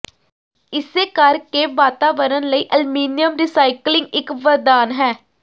ਇਸੇ ਕਰਕੇ ਵਾਤਾਵਰਨ ਲਈ ਅਲਮੀਨੀਅਮ ਰੀਸਾਈਕਲਿੰਗ ਇੱਕ ਵਰਦਾਨ ਹੈ